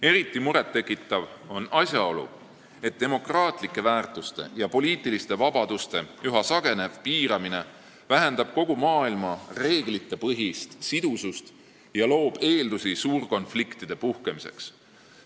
Eriti murettekitav on asjaolu, et üha sagenev demokraatlike väärtuste ja poliitiliste vabaduste piiramine vähendab kogu maailma reeglitepõhist sidusust ja loob eeldusi suurte konfliktide puhkemiseks.